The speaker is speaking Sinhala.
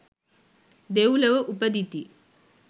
දෙව්ලොව උපදිති.